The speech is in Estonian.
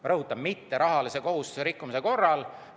Ma rõhutan: mitterahalise kohustuse rikkumise korral.